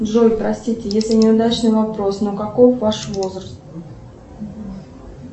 джой простите если неудачный вопрос но какой ваш возраст